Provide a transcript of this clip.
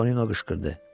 Tonino qışqırdı.